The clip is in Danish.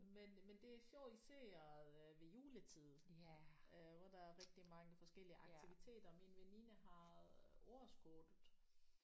Men men det er sjovt især øh ved juletid øh hvor der er rigtig mange forskellige aktiviteter min veninde har øh årskortet